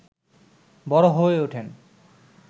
বড় হয়ে ওঠেন